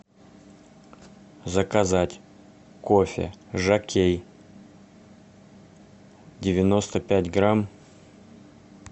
заказать кофе жокей девяносто пять грамм